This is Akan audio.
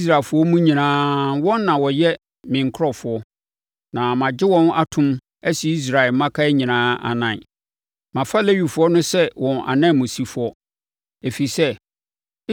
Israelfoɔ mu nyinaa, wɔn na wɔyɛ me nkurɔfoɔ, na magye wɔn atom asi Israelfoɔ mmakan nyinaa anan. Mafa Lewifoɔ no sɛ wɔn ananmusifoɔ.